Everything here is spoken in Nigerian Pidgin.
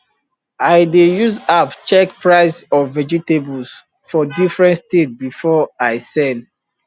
i dey use app check price of vegetables for different state before i sell